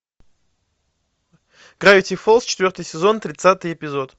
гравити фолз четвертый сезон тридцатый эпизод